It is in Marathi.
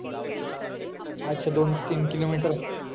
अच्छा दोन ते तीन किलोमीटर